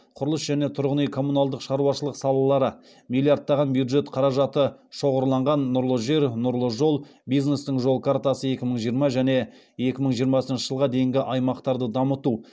құрылыс және тұрғын үй коммуналдық шаруашылық салалары миллиардтаған бюджет қаражаты шоғырланған нұрлы жер нұрлы жол бизнестің жол картасы екі мың жиырма және екі мың жиырмасыншы жылға дейін аймақтарды дамыту